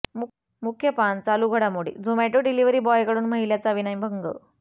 मुख्य पान चालू घडामोडी झोमॅटो डिलिव्हरी बॉयकडून महिलेचा विनयभंग